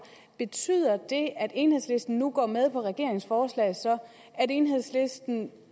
betyder det at enhedslisten nu går med på regeringens forslag og at enhedslisten